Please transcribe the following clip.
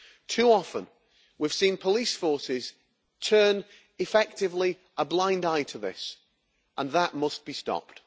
Too often, we have seen police forces turn effectively a blind eye to this, and that must be stopped.